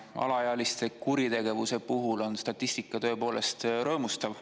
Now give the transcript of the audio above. Alaealiste kuritegevuse puhul on statistika tõepoolest rõõmustav.